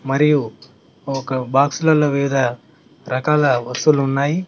మరియు ఒక బాక్స్ ల్లలో వివిధ రకాల వస్తువులు ఉన్నాయి.